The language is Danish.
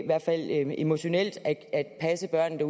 hvert fald emotionelt at passe børnene